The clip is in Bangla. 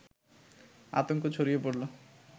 আতঙ্ক ছড়িয়ে পড়লো